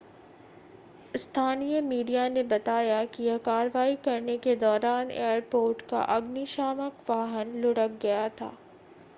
स्थानीय मीडिया ने बताया है कि कार्रवाई करने के दौरान एयरपोर्ट का अग्निशामक वाहन लुढ़क गया था